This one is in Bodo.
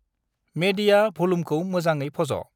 मेेदिया भलुमखौ मोजाङै फज'।